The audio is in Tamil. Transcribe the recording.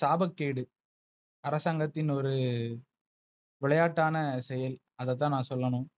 சாபக்கேடு. அரசாங்கத்தின் ஒரு விளையாட்டான செயல். அத தான் நா சொல்லணும்.